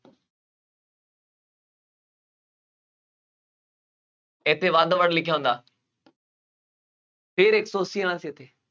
ਇੱਥੇ ਵੱਧ ਤੋਂ ਵੱਧ ਲਿਖਿਆ ਹੁੰਦਾ ਫੇਰ ਇੱਕ ਸੌ ਅੱਸੀ ਆਉਣਾ ਸੀ, ਇੱਥੇ,